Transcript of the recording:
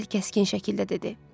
Vasil kəskin şəkildə dedi.